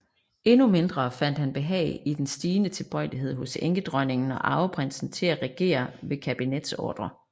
Endnu mindre fandt han behag i den stigende tilbøjelighed hos enkedronningen og arveprinsen til at regere ved kabinetsordrer